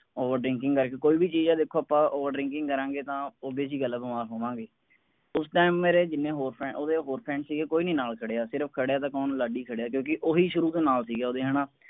over ਕਰਕੇ ਕੋਈ ਵੀ ਚੀਜ਼ ਹੈ ਦੇਖੋ ਆਪਾਂ over drinking ਕਰਾਂਗੇ ਤਾਂ obvious ਜੀ ਗੱਲ ਹੈ ਬਿਮਾਰ ਹੋਵਾਂਗੇ। ਉਸ time ਮੇਰੇ ਜਿੰਨੇ ਹੋਰ friends ਉਸਦੇ ਹੋਏ friends ਸੀਗੇ ਕੋਈ ਨਹੀਂ ਨਾਲ ਖੜਿਆ ਸਿਰਫ ਖੜਿਆ ਤਾਂ ਕੌਣ ਲਾਡੀ ਖੜਿਆ ਕਿਉਂਕਿ ਓਹੀ ਸ਼ੁਰੂ ਤੋਂ ਨਾਲ ਸੀਗਾ ਓਹਦੇ ਹੈ ਨਾ।